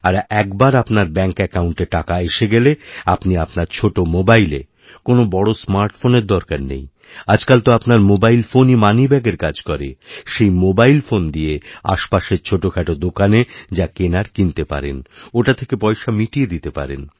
আর একবার আপনার ব্যাঙ্ক অ্যাকাউণ্টে টাকা এসে গেলে আপনিআপনার ছোট মোবাইলে কোনও বড় স্মার্ট ফোন দরকার নেই আজকাল তো আপনার মোবাইল ফোনইমানিব্যাগের কাজ করে সেই মোবাইল ফোন দিয়ে আশপাশের ছোটখাটো দোকানে যা কেনার কিনতেপারেন ওটা থেকে পয়সা মিটিয়ে দিতে পারেন